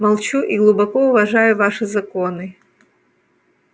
молчу и глубоко уважаю ваши законы